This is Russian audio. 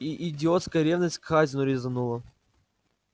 и идиотская ревность к хазину резанула